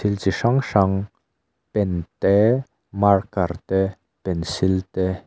chi hrang hrang pen te marker te pencil te--